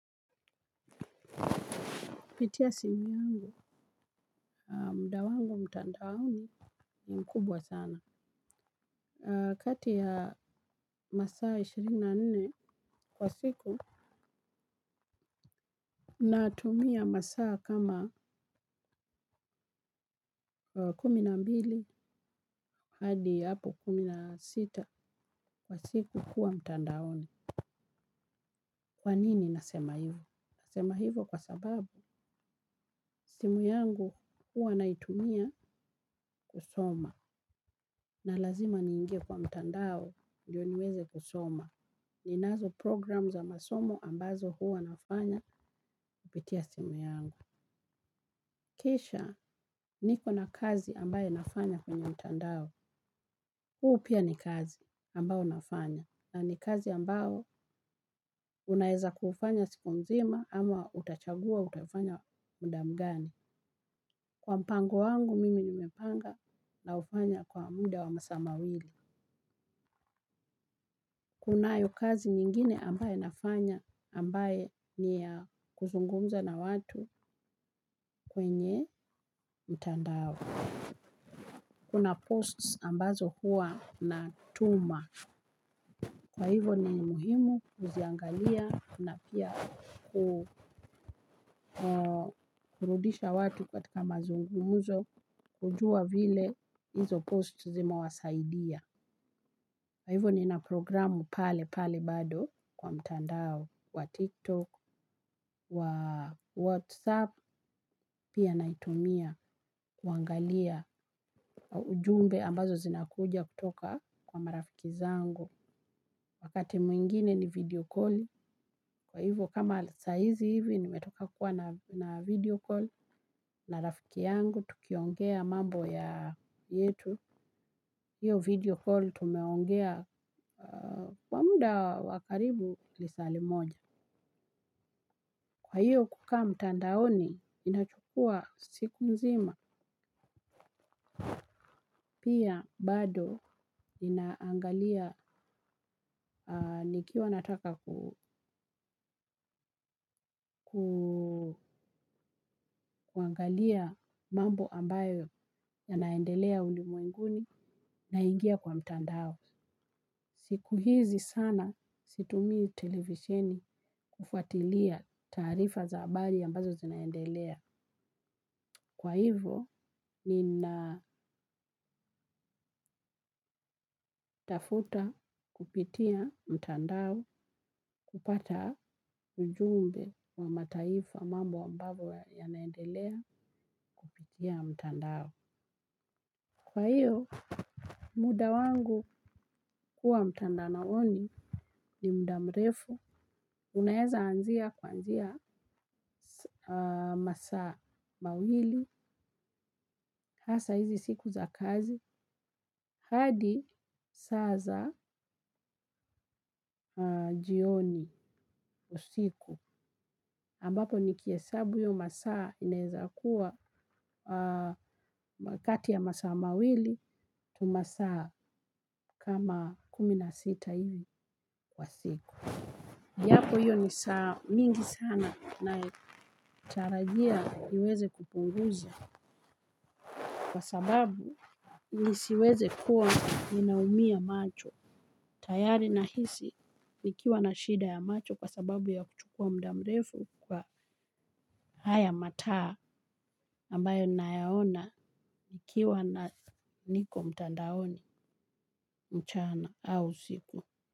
Pitia simu yangu, muda wangu mtandaoni ni mkubwa sana. Kati ya masaa ishirini na nne kwa siku, natumia masaa kama kuminambili hadi hapo kumi nasita kwa siku kuwa mtandaoni. Kwa nini nasema hivo? Nasema hivo kwa sababu simu yangu huwa naitumia kusoma. Na lazima niingie kwa mtandao ndio niweze kusoma. Ninazo program za masomo ambazo huwa nafanya kupitia simu yangu. Kisha niko na kazi ambayo nafanya kwenye mtandao. Huu pia ni kazi ambao nafanya. Na ni kazi ambao unaeza kuufanya siku nzima ama utachagua utafanya muda mgani. Kwa mpango wangu mimi nimepanga na ufanya kwa muda wa masaa mawili. Kunayo kazi nyingine ambayo nafanya ambaye ni ya kuzungumza na watu kwenye mtandao. Kuna posts ambazo hua na tuma. Kwa hivo ni muhimu kuziangalia na pia kurudisha watu katika mazungumzo kujua vile hizo posts zime wasaidia. Kwa hivyo nina programu pale pale bado kwa mtandao wa tiktok, wa whatsapp, pia naitumia kuangalia ujumbe ambazo zinakuja kutoka kwa marafiki zangu. Wakati mwingine ni video calli, kwa hivyo kama saizi hivi nimetoka kuwa na video call na rafiki yangu, tukiongea mambo ya yetu. Hiyo video call tumeongea kwa muda wakaribu lisali moja. Kwa hiyo kukaa mtandaoni inachukua siku mzima pia bado inaangalia nikiwa nataka kuangalia mambo ambayo yanaendelea ulimwenguni naingia kwa mtandao. Siku hizi sana situmii televisheni kufuatilia taarifa za abari ambazo zinaendelea. Kwa hivo, nina kupitia mtandao kupata ujumbe wa mataifa mambo ambavyo yanaendelea kupitia mtandao. Kwa hiyo, muda wangu kuwa mtandaoni ni muda mrefu. Unaeza anzia kuanzia masaa mawili, hasa hizi siku za kazi, hadi saza jioni usiku ambapo nikiesabu hiyo masaa inezakuwa kati ya masaa mawili tu masaa kama kumi na sita hivi kwa siku. Japo hiyo nisaa mingi sana natarajia niweze kupunguza kwa sababu nisiweze kuwa ninaumia macho. Tayari nahisi nikiwa na shida ya macho kwa sababu ya kuchukua muda mrefu kwa haya mataa ambayo nayaona. Nikiwa na niko mtandaoni mchana au siku.